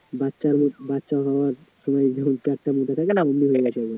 বাচ্চা হওয়ার সময় যেমন পেটটা উঠে থাকে না mobile টা